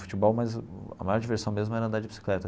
Futebol mas a maior diversão mesmo era andar de bicicleta.